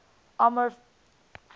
amorphous solids